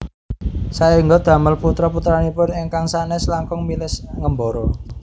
Saéngga damel putra putranipun ingkang sanes langkung milih ngembara